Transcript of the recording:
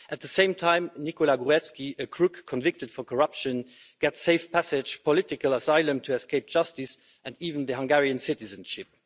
At the same time, Nikola Gruevski, a crook convicted for corruption, gets safe passage and political asylum to escape justice, and even Hungarian citizenship.